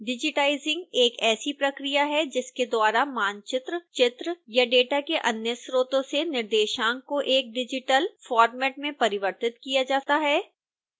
digitizing एक ऐसी प्रक्रिया है जिसके द्वारा मानचित्र चित्र या डेटा के अन्य स्रोतों से निर्देशांक को एक डिजिटल फॉर्मेट में परिवर्तित किया जाता है